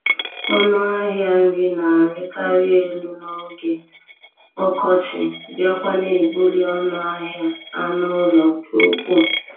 Ọnụ ahịa nri na-arịkarị elu n'oge ọkọchị, bịakwa na-ebuli ọnụ ahịa anụ ụlọ nke ukwuu